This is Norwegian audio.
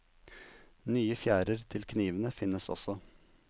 Nye fjærer til knivene finnes også.